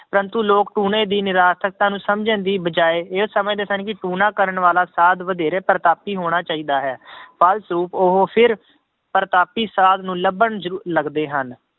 ਪ੍ਰੰਤੂ ਲੋਕ ਟੂਣੇ ਦੀ ਨਿਰਾਰਥਕਤਾ ਨੂੰ ਸਮਝਣ ਦੀ ਬਜਾਏ ਇਹ ਸਮਝਦੇ ਸਨ ਕਿ ਟੂਣਾ ਕਰਨ ਵਾਲਾ ਸਾਧ ਵਧੇਰੇ ਪ੍ਰਤਾਪੀ ਹੋਣਾ ਚਾਹੀਦਾ ਹੈ ਫਲਸਰੂਪ ਉਹ ਫਿਰ ਪ੍ਰਤਾਪੀ ਸਾਧ ਨੂੰ ਲੱਭਣ ਜ਼ਰੂ~ ਲੱਗਦੇ ਹਨ,